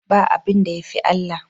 Ba abinda yafi Allah